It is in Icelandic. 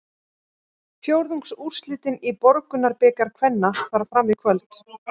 Fjórðungsúrslitin í Borgunarbikar kvenna fara fram í kvöld.